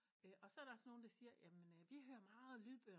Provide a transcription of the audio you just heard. Og så er der sådan nogen der siger jamen de hører meget lydbøger